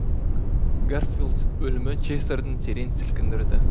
гарфилд өлімі честерді терең сілкіндірді